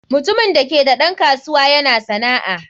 Mutumin da ke da ɗan kasuwa yana sana'a.